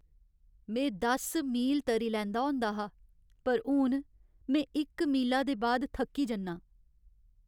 में दस मील तरी लैंदा होंदा हा पर हून में इक मीला दे बाद थक्की जन्नां।